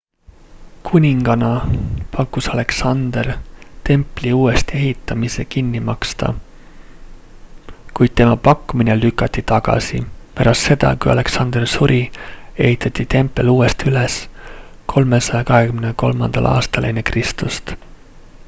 kuningana pakkus alexander templi uuesti ehitamise kinni maksta kuid tema pakkumine lükati tagasi pärast seda kui alexander suri ehitati tempel uuesti üles 323 aastal ekr